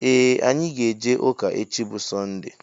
Ee anyị ga -eje ụka echi bụ sonde.